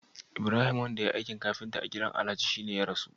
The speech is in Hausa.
Ibrahim wanda yayi aikin kafinta a gidan alhaji sani ne ya rasu?